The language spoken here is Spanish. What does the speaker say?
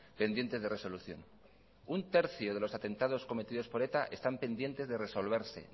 pendientes de resolución un tercio de los atentados cometidos por eta están pendientes de resolverse